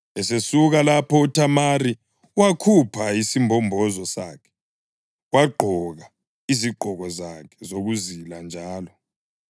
Esesuka lapho uThamari wakhupha isimbombozo sakhe wagqoka izigqoko zakhe zokuzila njalo.